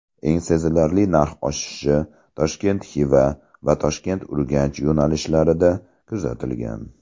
Eng sezilarli narx oshishi Toshkent–Xiva va Toshkent–Urganch yo‘nalishlarida kuzatilgan.